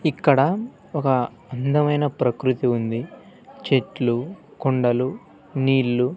ఇక్కడ ఒక అందమైన ప్రకృతి ఉంది చెట్లు కొండలు నీళ్ళు--